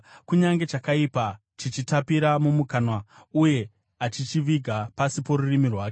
“Kunyange chakaipa chichitapira mumukanwa, uye achichiviga pasi porurimi rwake,